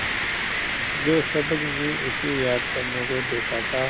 जो सबक मैं उसे याद करने को देता था